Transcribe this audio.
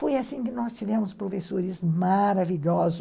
Foi assim que nós tivemos professores maravilhosos.